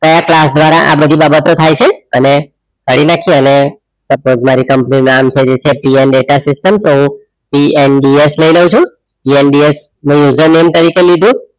કયા ક્લાસ ધ્વારા આ બધી બાબતો થઈ છે અને અને કાઢી નાખીએ અને કંપની નું નામ છે જે છે PN data system તો હું PNDS લઈ લવ છું PNDS ને user name તરીકે લીધું